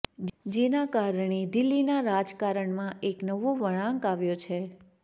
જેના કારણે દિલ્હીના રાજકારણમાં એક નવો વળાંક આવ્યો છે